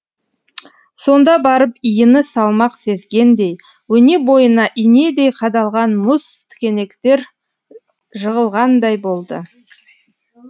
сонда барып иіні салмақ сезгендей өне бойына инедей қадалған мұз тікенектер жығылғандай болды